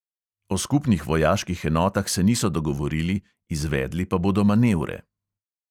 O skupnih vojaških enotah se niso dogovorili, izvedli pa bodo manevre.